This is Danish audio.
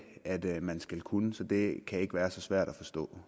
man skal kunne så det kan ikke være så svært at forstå